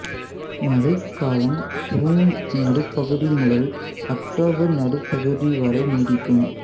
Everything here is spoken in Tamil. மழைக்காலம் சூன் நடுப்பகுதி முதல் அக்டோபர் நடுப்பகுதி வரை நீடிக்கும்